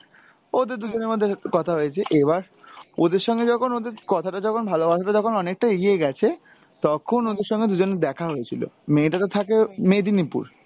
ওদের দুজনের মধ্যে কথা হয়েছে, এবার ওদের সঙ্গে যখন ওদের কথা টা যখন ভালবাসাটা যখন অনেকটা এগিয়ে গেছে তখন ওদের সঙ্গে দুজনের দেখা হয়েছিলো, মেয়েটা তো থাকে মেদিনীপুর।